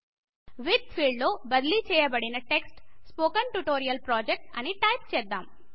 with field లో బదిలీ చేయబడిన టెక్స్ట్ స్పోకెన్ ట్యూటోరియల్ ప్రొజెక్ట్ అని టైపు చేద్దాం